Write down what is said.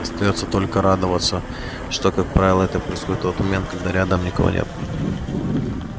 остаётся только радоваться что как правило это происходит тот момент когда рядом никого нет